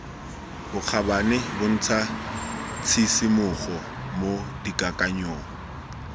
bokgabane bontsha tshisimogo mo dikakanyong